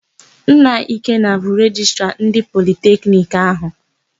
Nna Ikenna bụ Rejistra ndị Politekiniki áhụ̀.